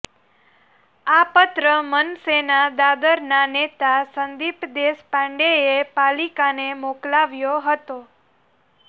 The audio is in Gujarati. આ પત્ર મનસેના દાદરના નેતા સંદીપ દેશપાંડેએ પાલિકાને મોકલાવ્યો હતો